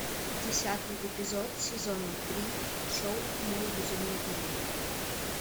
десятый эпизод сезона три шоу мой безумный дневник